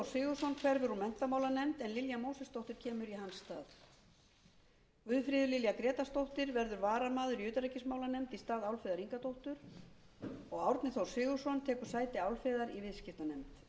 sigurðsson hverfur úr menntamálanefnd en lilja mósesdóttir kemur í hans stað guðfríður lilja grétarsdóttir verður varamaður í utanríkismálanefnd í stað álfheiðar ingadóttur og árni þór sigurðsson tekur sæti álfheiðar í viðskiptanefnd þá verður guðfríður